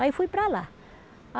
Aí fui para lá.